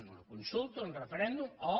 una consulta un referèndum o